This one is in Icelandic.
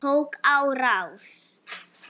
Tók á rás.